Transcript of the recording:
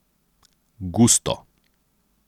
Gusto.